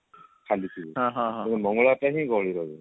ଖାଲି ଥିବ ମଙ୍ଗଳବାର ଟା ହିଁ ଗହଳି ରହିବ